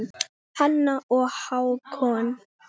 Hanna og Hákon.